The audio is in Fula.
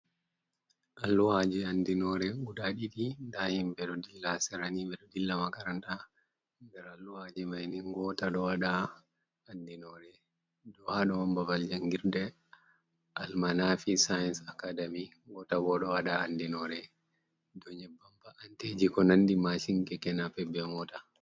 Alluhaaji andinoore gudaa ɗiɗi, ndaa himɓe ɗo dilla sera nii, ɓe ɗo dilla makaranta, nder alluhaaji mai ni, ngoota ɗo waɗa andinoore dow ha ɗo on babal jangirde al-manaafi sains akadami, ngoota bo ɗo waɗa andinoore dow nyebbam mba'anteji ko nandi maashin, keke-napep, be mota.